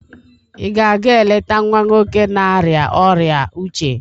ị ga-aga eleta nwa nwoke na-arịa ọrịa uche?